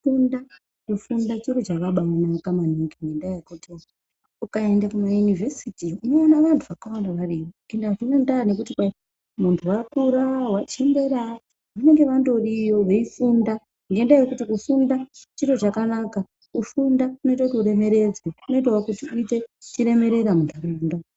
,Kufunda, kufunda chiro chakabaanaka maningi ngendaa yekuti ukaende kumaYunivesiti unoone vantu akawanda variyo ende azvinandaa nekuti kwaimuntu wakura wachembera vanenge vandoriyo veifunda ngendaa yekuti kufunda chiro chakanaka kufunda kunoite kuti uremeredzwe kunoitawo kuti uite chiremerea munharaunda.